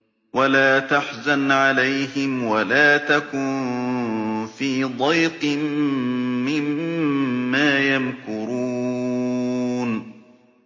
وَلَا تَحْزَنْ عَلَيْهِمْ وَلَا تَكُن فِي ضَيْقٍ مِّمَّا يَمْكُرُونَ